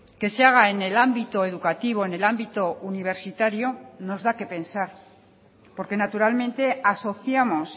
que se haga en el ámbito educativo en el ámbito universitario nos da qué pensar porque naturalmente asociamos